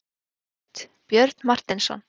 Línurit: Björn Marteinsson.